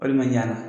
Walima ɲana